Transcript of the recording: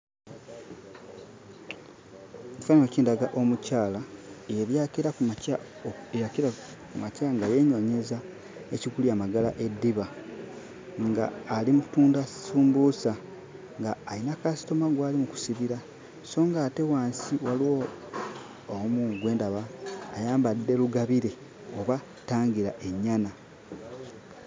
Ekifaananyi kindaga omukyala eyali akeera ku makya eyakeera ku makya nga yeenoonyeza ekigulira Magala eddiba, ng'ali mu ttunda ssumbuusa ng'ayina kasitoma gwali mu kusibira so ng'ate wansi waliwo omu gwe ndaba ayambadde lugabire oba ttangirennyana.